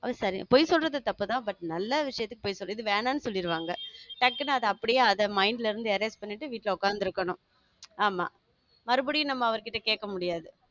அப்போச்செரி பொய் சொல்றது தப்புதான் but நல்ல விஷயத்துக்கு பொய் சொல்லிட்டு வேணாம்னு சொல்லிடுவாங்க. டக்குனு அத அப்படியே அத mind ல இருந்து erase பண்ணிட்டு வீட்டுல உட்கார்ந்து இருக்கணும் ஆமா மறுபடியும் நம்ம அவர்கிட்ட கேட்க முடியாது